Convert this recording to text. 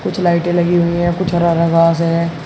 कुछ लाइटें लगी हुई है कुछ हरा हरा घास है।